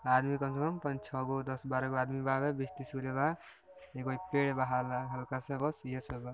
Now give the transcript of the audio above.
आदमी कम से कम पञ्च छो गो दस बारे गो आदमी बावे बीस तिस गो ले बा ईगो इ पेड़ बा हला-हल्का सा बस इहे सब बा